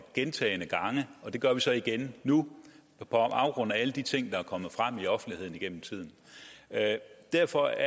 gentagne gange og det gør vi så igen nu på baggrund af alle de ting der er kommet frem i offentligheden gennem tiden derfor